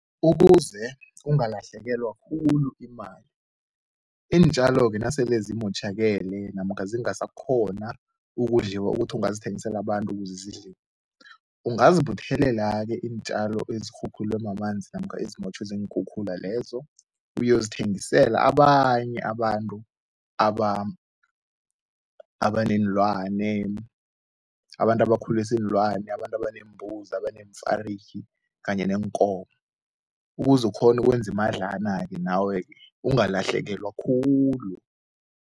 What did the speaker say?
Ukuze ungalahlekelwa khulu imali, iintjalo-ke nasele zimotjhakele namkha zingasakghona ukudliwa ukuthi angazithengisela abantu ukuze zidliwe, ungazi buthelela-ke iintjalo ezikhukhulwe mamanzi namkha ezimotjhwe ziinkhukhula lezo uyozithengisela abanye abantu abaneenlwane, abantu abakhulisa iinlwane, abantu abeneembuzi, abaneemfarigi kanye neenkomo ukuze ukghone ukwenza imadlana-ke nawe ke ungalahlekelwa khulu.